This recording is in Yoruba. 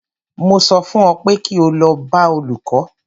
Mo sọ fún ọ pé kí o lọ bá olùkó!